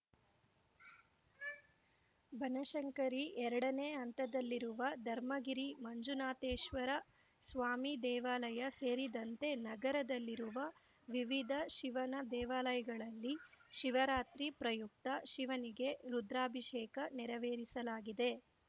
ಬನಶಂಕರಿ ಎರಡನೇ ಹಂತದಲ್ಲಿರುವ ಧರ್ಮಗಿರಿ ಮಂಜುನಾಥೇಶ್ವರ ಸ್ವಾಮಿ ದೇವಾಲಯ ಸೇರಿದಂತೆ ನಗರದಲ್ಲಿರುವ ವಿವಿಧ ಶಿವನ ದೇವಾಲಯಗಳಲ್ಲಿ ಶಿವರಾತ್ರಿ ಪ್ರಯುಕ್ತ ಶಿವನಿಗೆ ರುದ್ರಾಭಿಷೇಕ ನೆರವೇರಿಸಲಾಗಿದೆ